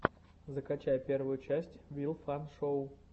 закачай первую часть вил фан шоу